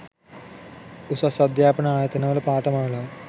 උසස් අධ්‍යාපන ආයතනවල පාඨමාලා